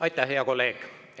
Aitäh, hea kolleeg!